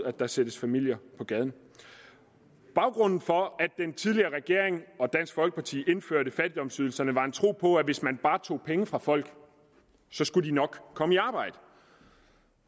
at der sættes familier på gaden baggrunden for at den tidligere regering og dansk folkeparti indførte fattigdomsydelserne var en tro på at hvis man bare tog penge fra folk skulle de nok komme i arbejde